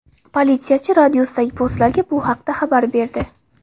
Politsiyachi radiusdagi postlarga bu haqda xabar berdi.